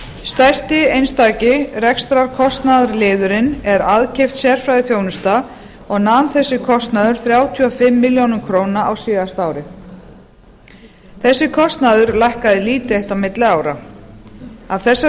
stærsti einstaki rekstrarkostnaðarliðurinn er aðkeypt sérfræðiþjónusta og nam þessi kostnaður þrjátíu og fimm milljónir króna á síðasta ári þessi kostnaður lækkaði lítið eitt á milli ára af þessari